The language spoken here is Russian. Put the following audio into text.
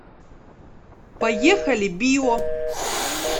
поехали био